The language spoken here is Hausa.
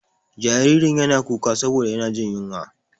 Jaririn yana kuka saboda yana jin ƴunwa.